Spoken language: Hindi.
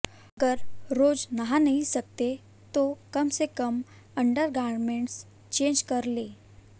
अगर रोज नहा नहीं सकते तो कम से कम अंडरगारमेंट्स चेंज कर लें